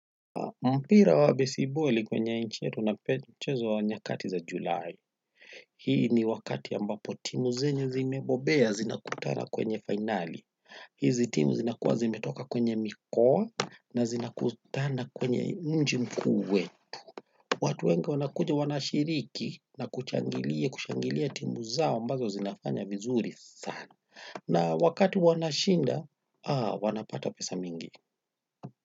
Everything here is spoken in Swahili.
Mpira wa besiboli kwenye nchi yetu unachezwa nyakati za Julai. Hii ni wakati ambapo timu zenyu zimebobea zinakutana kwenye finali. Hizi timu zinakuwa zimetoka kwenye mikoa na zinakutana kwenye mji mku wetu. Watu wengi wanakuja wanashiriki na kuchangilia kushangilia timu zao ambazo zinafanya vizuri sana. Na wakati wanashinda wanapata pesa mzuri sana.